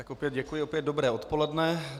Tak opět děkuji, opět dobré odpoledne.